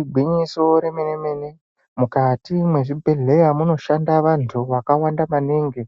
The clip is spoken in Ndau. Igwinyiso remene-mene mukati mwezvibhedhleya munoshanda vantu vakawanda maningi.